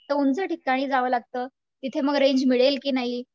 तर उंच ठिकाणी जावं लागतं तिथं मग रेंज मिळेल की नाही.